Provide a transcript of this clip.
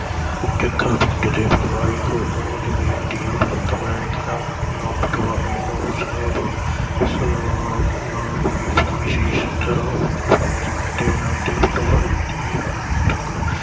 ਕਾਫ਼ੀ ਡਰੇ। ਪਟਵਾਰੀ ਕੋਲੋ ਜਮੀਨ ਦੀਆਂ ਫਰਦਾ ਲੈਣ ਗਿਆ ਨਾ ਪਟਵਾਰੀ ਨੂੰ ਸਾਹਿਬ ਸਲਾਮ, ਨਾ ਕੋਈ ਫੀਸ ਇਸ ਤਰ੍ਹਾਂ ਦੇਣਾ ਤੇ ਪਟਵਾਰੀ ਦੀ